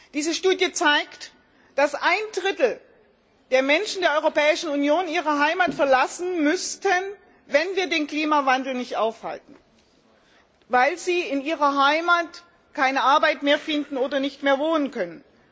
Diese Studie zeigt, dass ein Drittel der Menschen der Europäischen Union ihre Heimat verlassen müssten, wenn wir den Klimawandel nicht aufhalten, weil sie in ihrer Heimat keine Arbeit mehr finden oder nicht mehr wohnen können.